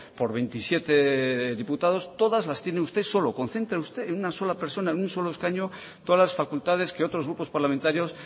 por veintisiete diputados todas las tiene usted solo concentra usted en una sola persona en un solo escaño todas las facultades que otros grupos parlamentarios